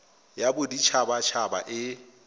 ya bodit habat haba e